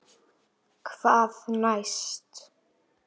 Hvað næst?